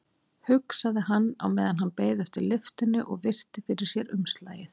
hugsaði hann á meðan hann beið eftir lyftunni og virti fyrir sér umslagið.